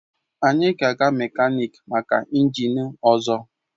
Anyị ga-aga mekaniki maka injin ọzọ